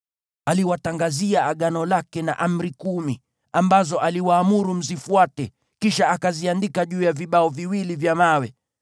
Aliwatangazia Agano lake na Amri Kumi, ambazo aliwaamuru mzifuate, kisha akaziandika juu ya vibao viwili vya mawe.